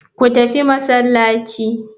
Ku tafi masallaci.